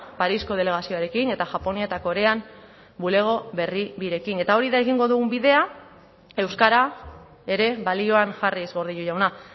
parisko delegazioarekin eta japonia eta korean bulego berri birekin eta hori da egingo dugun bidea euskara ere balioan jarriz gordillo jauna